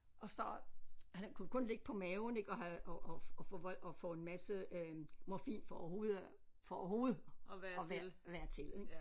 Og så han kunne kun ligge på maven ik og havde og og få og få en masse øh morfin for overhovedet at for at overhovedet at være være til ik